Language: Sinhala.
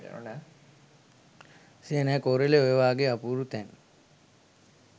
සියනෑ කෝරලේ ඔය වගේ අපූරු තැන්